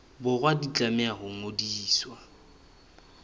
borwa di tlameha ho ngodiswa